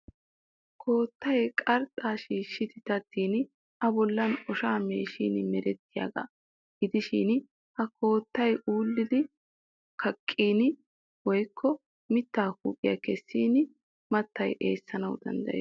Koottay qarxxaa shiishshi daddidi a bollan oshaa meeshin merettiyaagaa. Gidishin ha koottay ullidi kaqqin woyikko mittaa huuphiya kessin mattay eessanawu maaddes.